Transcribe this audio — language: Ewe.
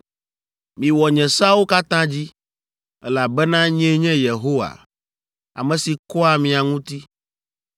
Miwɔ nye seawo katã dzi, elabena nyee nye Yehowa, ame si kɔa mia ŋuti.